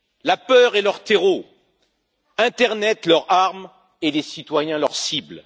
La peur est leur terreau, l'internet leur arme et les citoyens leurs cibles.